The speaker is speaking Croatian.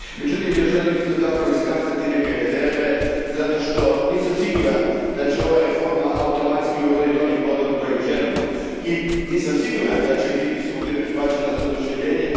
Međutim, ja želim isto tako iskazati neke rezerve, zato što nisam siguran da će ova reforma automatski uroditi onim plodom kojim želimo i nisam siguran da će biti svugdje prihvaćena s oduševljenjem.